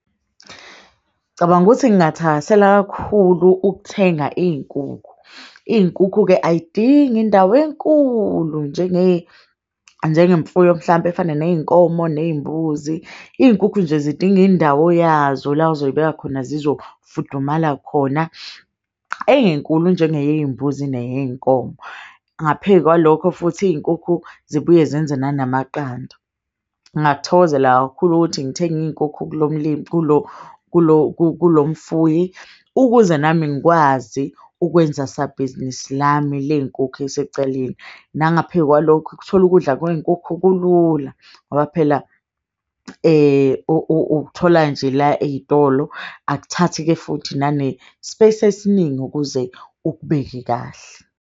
Ngicabanga ukuthi ngathakasela kakhulu ukuthenga iy'nkukhu. Iy'nkukhu-ke ayidingi indawo enkulu njengemfuyo mhlampe efana ney'nkomo ney'mbuzi. Iy'nkukhu nje zidinga indawo yazo la ozoy'beka khona, zizofudumala khona, ey'ngenkulu njengeyey'mbuzi neyey'nkomo. Ngaphe kwalokho futhi iy'nkukhu zibuye zenze nanamaqanda. Ngakuthokozela kakhulu ukuthi ngithenge iy'nkukhu kulo mfuyi. Ukuze nami ngikwazi ukwenza sabhizinisi lami leyinkukhu esecaleni. Nangaphe kwalokho, ukuthola ukudla kwey'nkukhu kulula ngoba phela ukuthola nje la ey'tolo. Akuthathi-ke futhi nane-space esiningi ukuze ukubeke kahle.